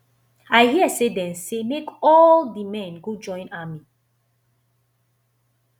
i hear say dey say make all the men go join army